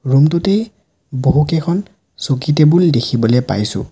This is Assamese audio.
ৰুম টোতেই বহুকেইখন চকী টেবুল দেখিবলে পাইছোঁ।